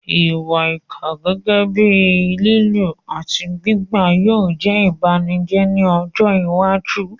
Ìwà ìkà, gẹ́gẹ́ bíi lílù àti gbígbá, yóò jẹ́ ìbànújẹ́ ní ọjọ́ iwájú.